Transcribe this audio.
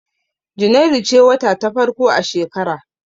Junairu ce wata ta farko a shekara.